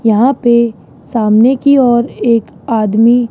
यहां पे सामने की ओर एक आदमी--